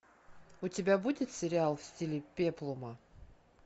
у тебя будет сериал в стиле пеплума